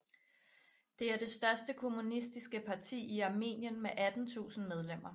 Det er det største kommunistiske parti i Armenien med 18000 medlemmer